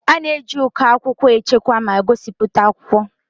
A na-eji uko akwụkwọ echekwa ma gosipụta akwụkwọ.